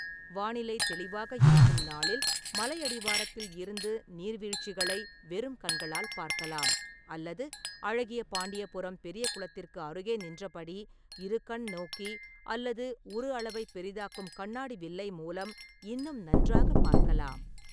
வானிலை தெளிவாக இருக்கும் நாளில், மலை அடிவாரத்தில் இருந்து நீர்வீழ்ச்சிகளை வெறும் கண்களால் பார்க்கலாம் அல்லது அழகியபாண்டியபுரம் பெரிய குளத்திற்கு அருகே நின்றபடி இருகண்நோக்கி அல்லது உரு அளவைப் பெரிதாக்கும் கண்ணாடி வில்லை மூலம் இன்னும் நன்றாகப் பார்க்கலாம்.